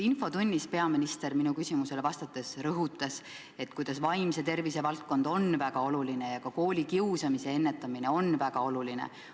Infotunnis peaminister minu küsimusele vastates rõhutas, et vaimse tervise valdkond on väga oluline ja ka koolikiusamise ennetamine on väga oluline.